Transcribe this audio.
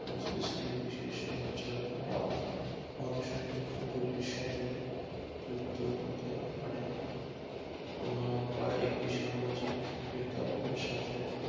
মস্তিষ্কের বিশেষ অঞ্চল বা অংসান গুলির সাথে যুক্ত হতে পারে তা একটি সামাজিক প্রেক্ষাপটের সাথে